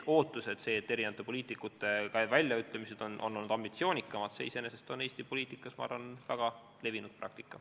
See, et poliitikute väljaütlemised on olnud ambitsioonikamad, on iseenesest Eesti poliitikas, ma arvan, väga levinud praktika.